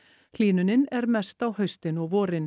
hlýnunin er mest á haustin og vorin